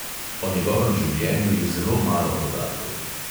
O njegovem življenju je zelo malo podatkov.